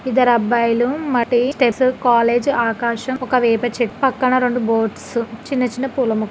ఇద్దరు అబ్బాయిలు మట్టి ఆకాశంఒక వేప చెట్టు పక్కన రెండు బోట్స్ చిన్న చిన్న పొలం ఉంది.